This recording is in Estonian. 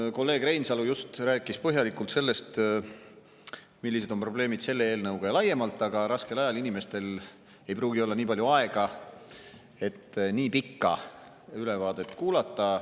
No kolleeg Reinsalu just rääkis põhjalikult sellest, millised on probleemid selle eelnõuga ja laiemalt, aga raskel ajal inimestel ei pruugi olla nii palju aega, et nii pikka ülevaadet kuulata.